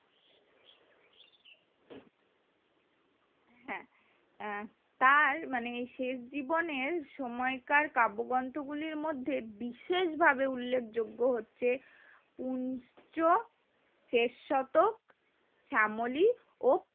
হ্যাঁ তার শেষ জীবনে সময়কার কাব্ব্যগ্রন্থের গুলির মধ্যে বিশেষ ভাবে উল্লেখ যোগ্য হচ্ছে উচ্চ শেষ শতক শ্যামলী ও